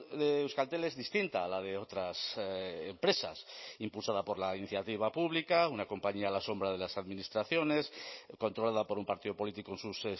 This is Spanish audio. de euskaltel es distinta a la de otras empresas impulsada por la iniciativa pública una compañía a la sombra de las administraciones controlada por un partido político en sus